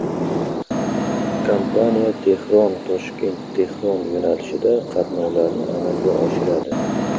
Kompaniya TehronToshkentTehron yo‘nalishida qatnovlarni amalga oshiradi.